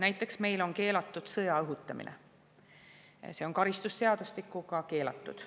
Näiteks on meil keelatud sõja õhutamine, see on karistusseadustikuga keelatud.